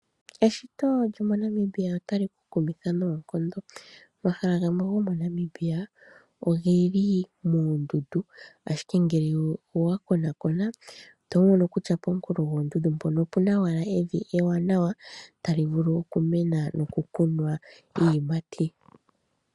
Eshito lyomoNamibia otali ku kumitha noonkondo. Omahala gamwe gomoNamibia oge li moondundu, ashike ngele owa konakona oto mono kutya pooha dhoondundu mpoka opu na evi ewanawa tali vulu okumena nokukunwa iiyimati.